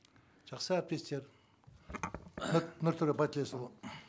жақсы әріптестер нұртөре байтілесұлы